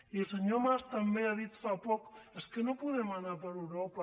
i el senyor mas també ha dit fa poc és que no podem anar per europa